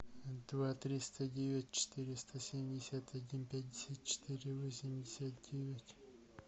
два триста девять четыреста семьдесят один пятьдесят четыре восемьдесят девять